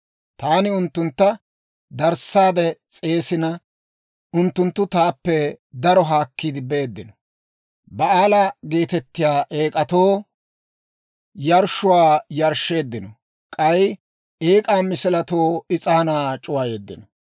Taani unttuntta darissaade s'eesina, unttunttu taappe daro haakkiide beeddino. Ba'aala geetettiyaa eek'atoo yarshshuwaa yarshsheeddino; k'ay eek'aa misiletoo is'aanaa c'uwayeeddino.